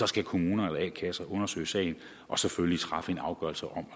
skal kommuner eller a kasser undersøge sagen og selvfølgelig træffe en afgørelse om